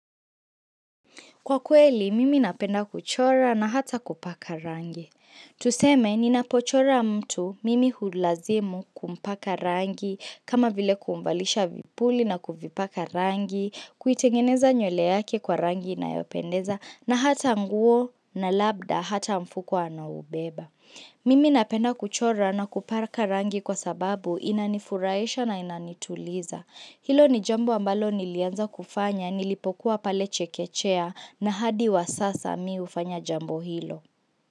Kwa kweli, mimi napenda kuchora na hata kupaka rangi. Tuseme, ninapochora mtu mimi hulazimu kumpaka rangi, kama vile kumvalisha vipuli na kuvipaka rangi, kuitengeneza nywele yake kwa rangi inayopendeza, na hata nguo na labda hata mfuko anaoubeba. Mimi napenda kuchora na kupaka rangi kwa sababu inanifurahisha na inanituliza. Hilo ni jambo ambalo nilianza kufanya, nilipokuwa pale chekechea, na hadi wa sasa mi ufanya jambo hilo.